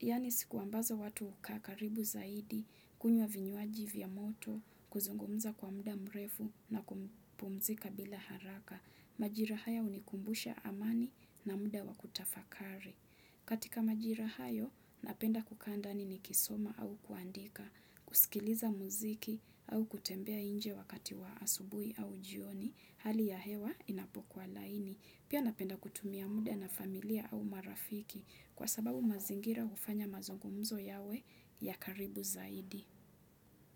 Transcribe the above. Yaani siku ambazo watu hukaa karibu zaidi, kunywa vinywaji vya moto, kuzungumza kwa muda mrefu na kupumzika bila haraka. Majira haya hunikumbusha amani na muda wa kutafakari. Katika majira hayo, napenda kukaa ndani nikisoma au kuandika, kusikiliza muziki au kutembea nje wakati wa asubuhi au jioni. Hali ya hewa inapokuwa laini. Pia napenda kutumia muda na familia au marafiki kwa sababu mazingira hufanya mazungumzo yawe ya karibu zaidi.